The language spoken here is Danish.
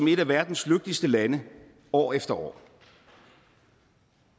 et af verdens lykkeligste lande år efter år